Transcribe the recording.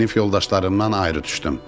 Sinif yoldaşlarımdan ayrı düşdüm.